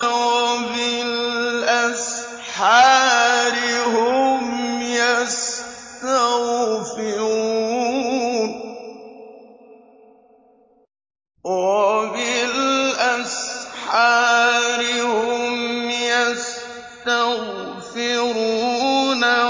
وَبِالْأَسْحَارِ هُمْ يَسْتَغْفِرُونَ